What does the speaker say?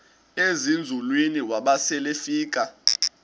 ezinzulwini waba selefika